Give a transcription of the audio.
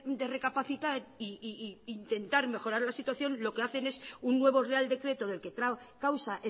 de recapacitar y intentar mejorar la situación lo que hacen es un nuevo real decreto del que causa